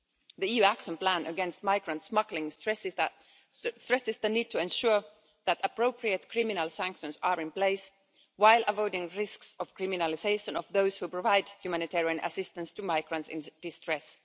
sea. The EU Action Plan against migrant smuggling stresses the need to ensure that appropriate criminal sanctions are in place, while avoiding the risk of criminalisation of those who provide humanitarian assistance to migrants in distress.